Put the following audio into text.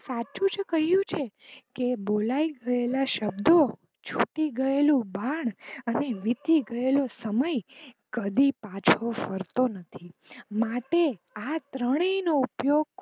સાચું જ કહ્યું છે કે બોલાય ગયેલા શબ્દો છૂટી ગયેલું બાણ અને વીતી ગયેલો સમય કદી પાછો ફરતો નથી માટે આ ત્રણેય નો ઉપીયોગ